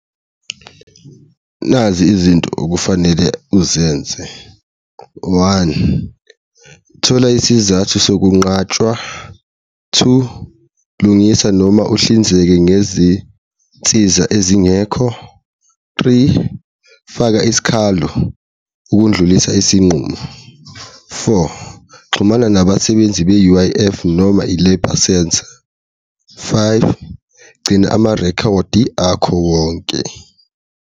Nazi izinto okufanele uzenze. One, thola isizathu sokunqatshwa. Two, lungisa noma uhlinzeke ngezinsiza ezingekho. Three, faka isikhalo ukundlulisa isinqumo. Four, xhumana nabasebenzi be-U_I_F noma i-Labour Centre. Five, gcina amarekhodi akho wonke.